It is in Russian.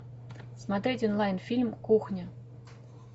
смотреть онлайн фильм кухня